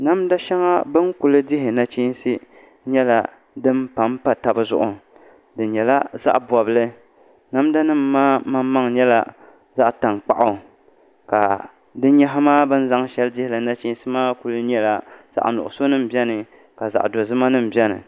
Namda shɛŋa bi ni ku dihi nachiinsi nyɛla din panpa tabi zuɣu di nyɛla zaɣ bobli namda nim maa maŋmaŋ nyɛla zaɣ tankpaɣu ka bini zaŋ shɛli dihili nachiinsi maa ku nyɛla zaɣ sabinli biɛni ka zaɣ dozima nim biɛni